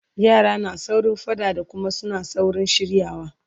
yara na saurin faɗa da Kuma suna saurin shiryawa